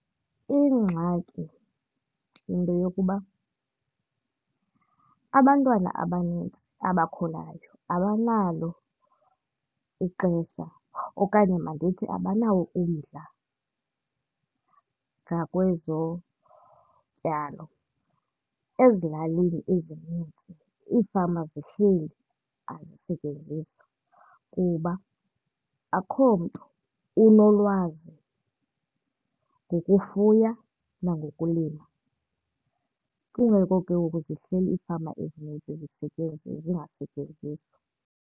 Ingxaki yinto yokuba abantwana abanintsi abakhulayo abanalo ixesha okanye mandithi abanawo umdla ngakwezotyalo. Ezilalini ezinintsi ifama zihleli azisetyenziswa kuba akho mntu unolwazi ngokufuya nangokulima. Kungako ke ngoku zihleli iifama ezinintsi zingasetyenziswa.